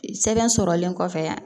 Sɛbɛn sɔrɔlen kɔfɛ